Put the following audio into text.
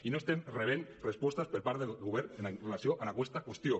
i no estem rebent respostes per part del govern amb relació a aquesta qüestió